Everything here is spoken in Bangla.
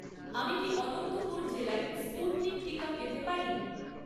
আমি কি অনন্তপুর জেলায় স্পুটনিক টিকা পেতে পারি?